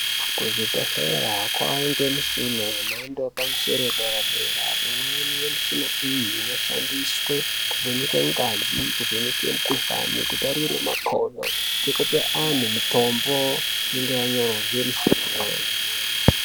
Kuzvibhedhlera kwangemshina yemhando yepamsoro wederadera. Imweni yemshina iyi, inoshandiswe kuvheneke ngazi, kuvheneke mkhuhlane, kutarire makhono ekupa anhu mitombo inenge yanyorwa ngemshina.